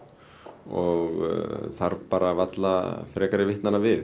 og þarf bara varla frekari vitnanna við